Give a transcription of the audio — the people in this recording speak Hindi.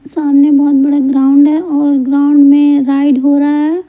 सामने बहुत बड़ा ग्राउंड है और ग्राउंड में राइड हो रहा है।